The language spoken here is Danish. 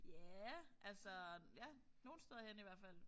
Ja altså ja nogle steder hen i hvert fald